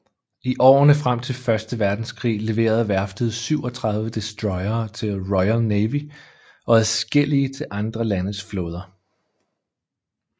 I årene frem til Første Verdenskrig leverede værftet 37 destroyere til Royal Navy og adskillige til andre landes flåder